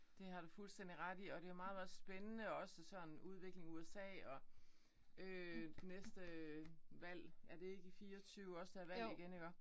Det har du fuldstændig ret i. Og det jo meget meget spændende også sådan udvikling USA og øh næste valg er det ikke i 24 også der er valg igen iggå?